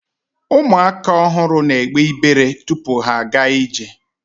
ụmụaka ọhụrụ na egbe ibere tupu ha aga ije